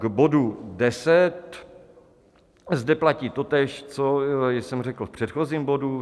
K bodu 10: zde platí totéž, co jsem řekl v předchozím bodu.